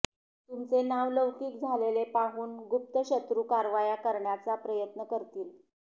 तुमचे नावलौकिक झालेले पाहून गुप्त शत्रू कारवाया करण्याचा प्रयत्न करतील